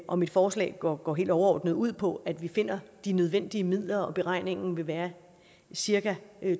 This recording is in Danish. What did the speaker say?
og mit forslag går går helt overordnet ud på at vi finder de nødvendige midler og beregningen vil være cirka